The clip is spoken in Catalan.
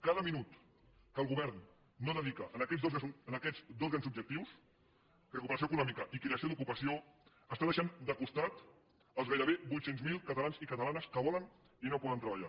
cada minut que el govern no dedica a aquests dos grans objectius recuperació econòmica i creació d’ocupació està deixant de costat els gairebé vuit cents miler catalans i catalanes que volen i no poden treballar